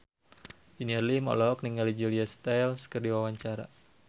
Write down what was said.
Junior Liem olohok ningali Julia Stiles keur diwawancara